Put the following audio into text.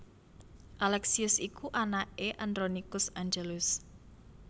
Alexius iku anaké Andronikus Angelus